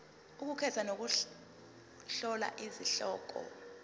ukukhetha nokuhlola izihloko